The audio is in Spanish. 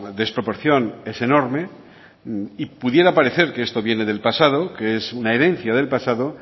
desproporción es enorme y pudiera parecer que esto viene del pasado que es una herencia del pasado